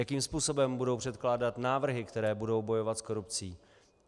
Jakým způsobem budou předkládat návrhy, které budou bojovat s korupcí.